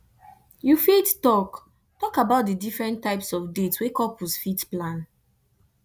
you fit talk talk about di different types of dates wey couples fit plan